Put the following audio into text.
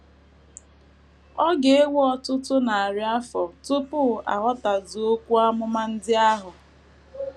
Ọ ga - ewe ọtụtụ narị afọ tupu a ghọtazuo okwu amụma ndị ahụ.